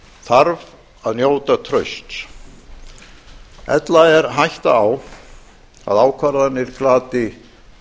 þarf að njóta trausts ella er hætta á að ákvarðanir glati